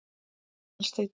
Aðalsteinn